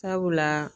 Sabula